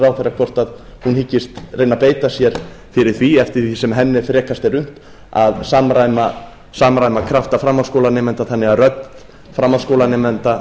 ráðherra hvort hún hyggist reyna að beita sér fyrir því eftir sem henni er frekast er unnt að samræma krafta framhaldsskólanemenda þannig að rödd framhaldsskólanemenda